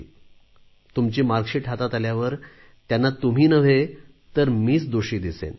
मग तुमची गुण पत्रिका हातात आल्यावर त्यांना तुम्ही नव्हे तर मीच दोषी दिसेन